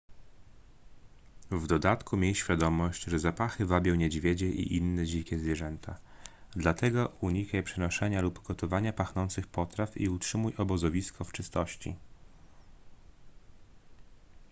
w dodatku miej świadomość że zapachy wabią niedźwiedzie i inne dzikie zwierzęta dlatego unikaj przenoszenia lub gotowania pachnących potraw i utrzymuj obozowisko w czystości